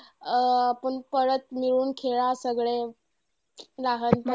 अं आपण परत मिळून खेळा सगळे लहान